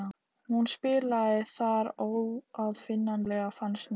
Hún spilaði þar óaðfinnanlega fannst mér.